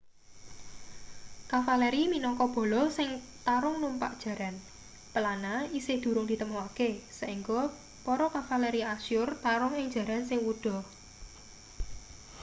kavaleri minangka bala sing tarung numpak jaran pelana isih durung ditemokake saengga para kavaleri asyur tarung ing jaran sing wuda